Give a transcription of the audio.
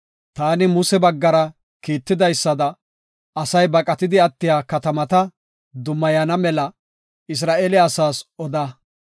“Taani Muse baggara kiitidaysada, ‘Asay baqatidi attiya katamata dummayana mela’ Isra7eele asaas oda.